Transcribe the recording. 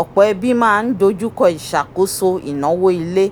ọ̀pọ̀ ẹbí máa n dojú kọ́ ìṣàkóso ináwó ilé